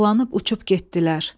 Dolanıp uçub getdilər.